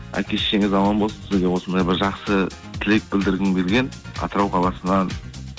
әке шешеңіз аман болсын сізге осындай бір жақсы тілек білдіргім келген атырау қаласынан